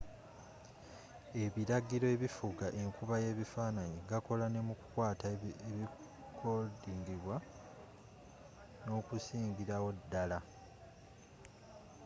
ebiragiro ebifuga enkuba y'ebifaananyi gakola ne mu kukwata ebirikodingibwa n'okusingirawo ddala